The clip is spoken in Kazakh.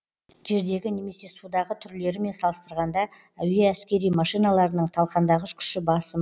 жердегі немесе судағы түрлерімен салыстырғанда әуе әскери машиналарының талқандағыш күші басым